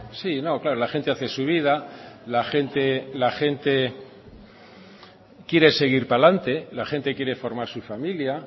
sí claro la gente hace su vida la gente quiere seguir hacía delante la gente quiere formar su familia